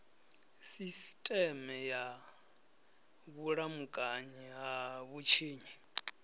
sisiteme ya vhulamukanyi ha vhutshinyi